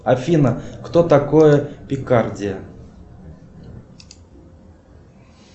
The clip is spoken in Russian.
афина кто такой пикардия